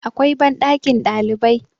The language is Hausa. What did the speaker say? akwai banɗakin ɗalibai